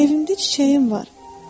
Evimdə çiçəyim var.